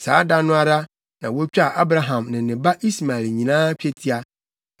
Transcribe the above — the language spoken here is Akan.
Saa da no ara, na wotwaa Abraham ne ne ba Ismael nyinaa twetia.